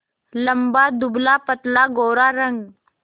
लंबा दुबलापतला गोरा रंग